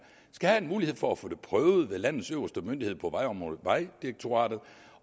skal have mulighed for at få det prøvet ved landets øverste myndighed på vejområdet vejdirektoratet